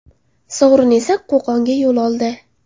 Sovrin esa Qo‘qonga yo‘l oldi.